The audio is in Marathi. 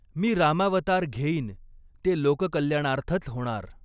मी रामावतार घेईन ते लोककल्याणार्थच होणार